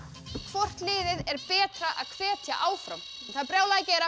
hvort liðið er betra að hvetja áfram það er brjálað að gera